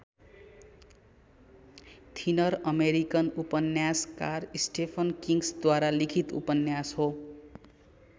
Thinner American उपन्यासकार Stephen किङ्ग्सद्वारा लिखित उपन्यास हो।